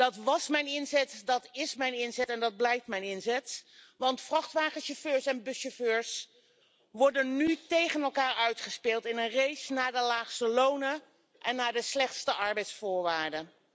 Dat was mijn inzet, dat is mijn inzet en dat blijft mijn inzet, want vrachtwagenchauffeurs en buschauffeurs worden nu tegen elkaar uitgespeeld in een race naar de laagste lonen en naar de slechtste arbeidsvoorwaarden.